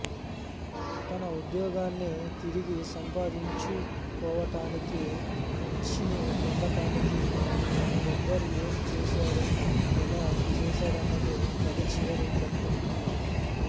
తన ఉద్యోగాన్ని తిరిగి సంపాదించుకోవటానికి అర్షిని పొందటానికి గబ్బర్ ఏం చేశాడు ఎలా చేశాడన్నదే కథ చివరి ఘట్టం